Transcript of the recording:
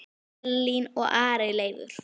Elín og Ari Leifur.